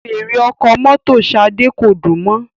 Fèèrè ọkọ̀ mọ́tò Shade ko dùn mò